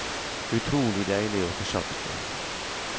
Utrolig deilig å få sagt det.